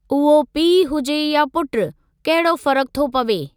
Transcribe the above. उहो पीउ हुजे या पुटु, कहिड़ो फ़र्क़ु थो पवे।